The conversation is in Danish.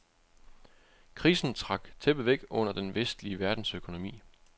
Krisen trak tæppet væk under den vestlige verdens økonomi.